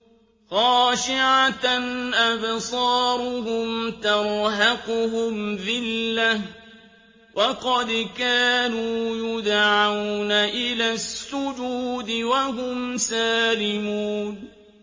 خَاشِعَةً أَبْصَارُهُمْ تَرْهَقُهُمْ ذِلَّةٌ ۖ وَقَدْ كَانُوا يُدْعَوْنَ إِلَى السُّجُودِ وَهُمْ سَالِمُونَ